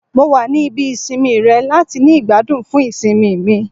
Mo wa ni ibi isinmi rẹ lati ni igbadun fun isinmi mi